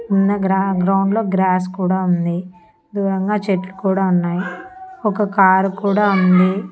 ఉన్న గ్రా గ్రౌండ్ లో గ్రాస్ కూడా ఉంది దూరంగా చెట్లు కూడా ఉన్నాయ్ ఒక కారు కూడా ఉంది.